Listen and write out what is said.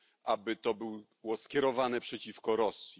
aby to był głos skierowany przeciwko Rosji.